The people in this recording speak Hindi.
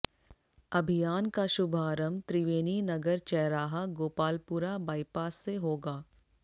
अभियान का शुभारम्भ त्रिवेणी नगर चैराहा गोपालपुरा बाईपास से होगा